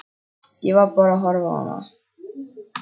Ég var bara að horfa á hana.